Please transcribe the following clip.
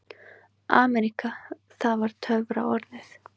AMERÍKA það var töfraorðið.